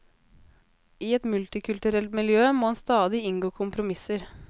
I et multikulturelt miljø må en stadig inngå kompromisser.